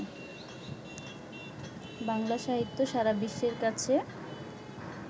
বাংলা সাহিত্য সারা বিশ্বের কাছে